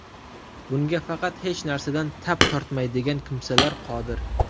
Bunga faqat hech narsadan tap tortmaydigan kimsalar qodir.